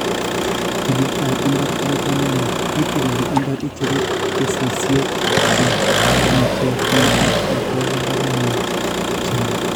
tililetap mbar ko ba kamanuut; itilil mbar, icheru kesisye che ng'etyotin ak igol mbarenit che lel